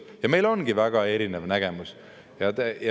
Ja meil ongi väga erinev nägemus.